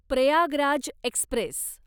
Prayagraj Express